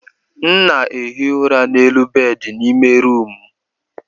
M na-ehi ụra n'elu bedị n'ime rumụ m.